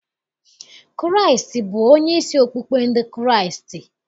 Kraịstị bụ onyeisi okpukpe ndị Kraịstị.